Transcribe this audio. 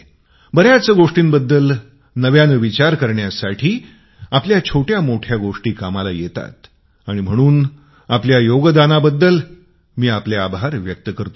बऱ्याच गोष्टीबद्दल नव्याने विचार करण्यासाठी आपल्या छोट्याछोट्या गोष्टी कामाला येतात आणि म्हणून मी आपल्या योगदानाबद्दल आपले आभार व्यक्त करतो